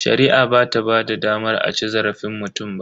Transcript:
Shari'a bata ba da damar a ci zarafin mutum ba.